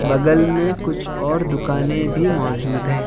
बगल में कुछ और दुकानें भी मौजूद हैं।